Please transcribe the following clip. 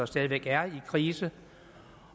stadig væk er i krise